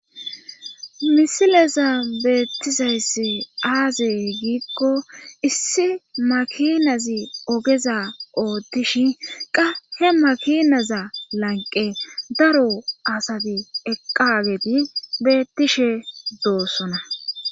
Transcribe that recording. misileza beettizayssi aazi giikko issi makinazi ogeza oottishin qa he makinaza lanqe daro asati eqqageti beettishe doossona